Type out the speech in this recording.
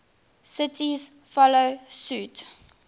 cities follow suit